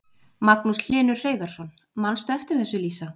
Magnús Hlynur Hreiðarsson: Manstu eftir þessu Lísa?